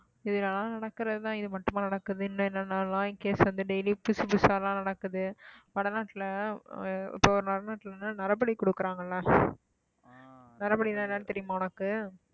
இது எல்லாம் நடக்கிறதுதான் இது மட்டுமா நடக்குது இன்னும் என்னென்னலாம் case வந்து daily புதுசு புதுசாலாம் நடக்குது வட நாட்டுல நரபலி குடுக்குறாங்கல்ல நரபலின்னா என்னன்னு தெரியுமா உனக்கு